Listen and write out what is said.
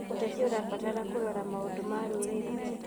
ũteti ũrabatara kũrora maũndũ ma rũrĩrĩ.